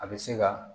A bɛ se ka